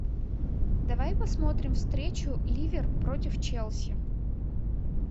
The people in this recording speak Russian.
давай посмотрим встречу ливер против челси